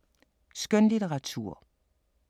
Skønlitteratur